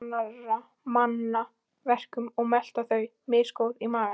Kyngja annarra manna verkum og melta þau, misgóð í maga.